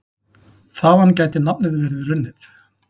Þaðan gæti nafnið verið runnið.